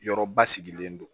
Yɔrɔ basigilen don